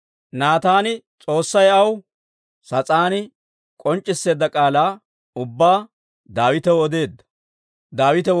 Naataan S'oossay aw sas'aani k'onc'c'isseedda k'aalaa ubbaa Daawitaw odeedda.